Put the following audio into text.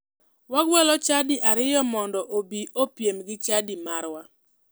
Wagwelo chadi ariyo mondo obi opiem gi chadi marwa.